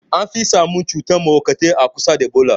An fi samun masu cutan mahauka a kusa da bola.